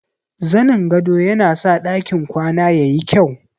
Zanin gado yana sa ɗakin kwana ya yi kyau.